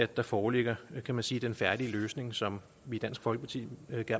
der foreligger kan man sige en færdig løsning som vi i dansk folkeparti